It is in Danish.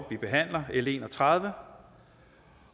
vi behandler l en og tredive